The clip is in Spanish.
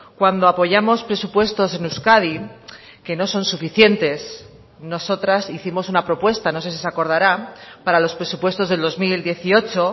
cuando apoyamos presupuestos en euskadi que no son suficientes nosotras hicimos una propuesta no sé si se acordara para los presupuestos del dos mil dieciocho